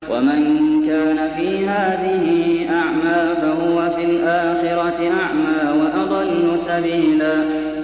وَمَن كَانَ فِي هَٰذِهِ أَعْمَىٰ فَهُوَ فِي الْآخِرَةِ أَعْمَىٰ وَأَضَلُّ سَبِيلًا